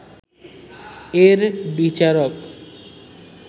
এর বিচারক